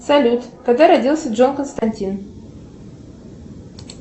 салют когда родился джон константин